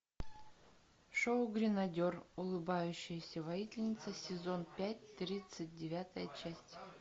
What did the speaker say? шоу гренадер улыбающаяся воительница сезон пять тридцать девятая часть